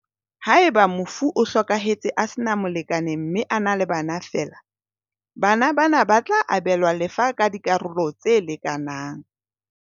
Haeba mofu o hlokahetse a sena molekane mme a na le bana feela, bana ba na ba tla abelwa lefa ka dikaralo tse lekanang.